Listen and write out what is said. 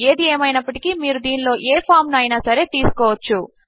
ఏది ఏమైనప్పటికీ మీరు దీనిలో ఏ ఫామ్ ను అయినా సరే తీసుకోవచ్చు